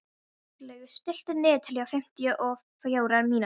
Bjarnlaugur, stilltu niðurteljara á fimmtíu og fjórar mínútur.